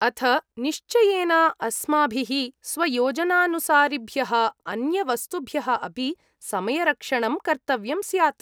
अथ निश्चयेन, अस्माभिः स्वयोजनानुसारिभ्यः अन्यवस्तुभ्यः अपि समयरक्षणं कर्तव्यं स्यात्।